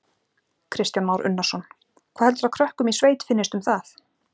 Kristján Már Unnarsson: Hvað heldurðu að krökkum í sveit finnist um það?